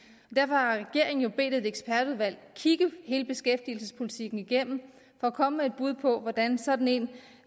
derfor har regeringen jo bedt et ekspertudvalg kigge hele beskæftigelsespolitikken igennem for at komme med et bud på hvordan sådan